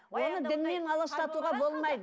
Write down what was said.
оны діннен аластатуға болмайды